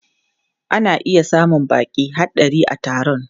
Ana iya samun baƙi har ɗari a taron.